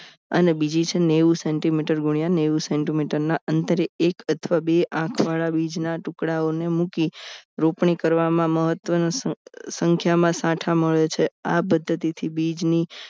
અને બીજી છે નેવું centimeter ગુનિયા નેવું centimeter ના અંતરે એક અથવા બે આંખવાળા બીજ ના ટુકડાઓને મૂકી રોપણી કરવામાં મહત્વનું સંખ્યામાં સાઠા મળે છે આ પદ્ધતિથી બીજ ની